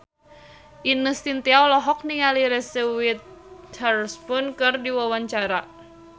Ine Shintya olohok ningali Reese Witherspoon keur diwawancara